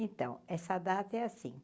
Então, essa data é assim.